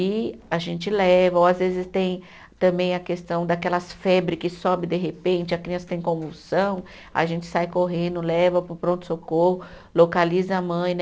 E a gente leva, ou às vezes tem também a questão daquelas febre que sobe de repente, a criança tem convulsão, a gente sai correndo, leva para o pronto-socorro, localiza a mãe, né?